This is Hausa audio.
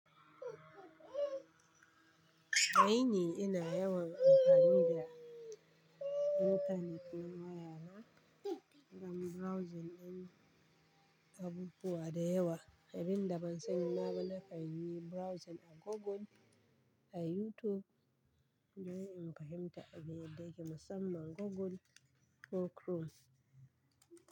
Ai ni ina yawan amfani da intanet na waya na don browsing din abubuwa da yawa. Abin daban sani na bana kan yi browsing a Google a YouTube. Se in fahimta abin yadda yake musamman Google ko Chrome.